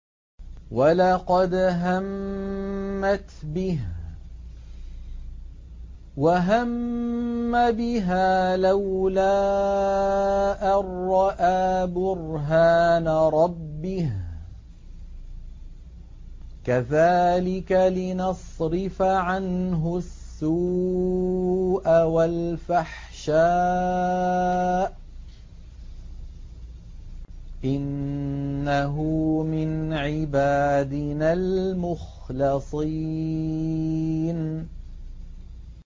وَلَقَدْ هَمَّتْ بِهِ ۖ وَهَمَّ بِهَا لَوْلَا أَن رَّأَىٰ بُرْهَانَ رَبِّهِ ۚ كَذَٰلِكَ لِنَصْرِفَ عَنْهُ السُّوءَ وَالْفَحْشَاءَ ۚ إِنَّهُ مِنْ عِبَادِنَا الْمُخْلَصِينَ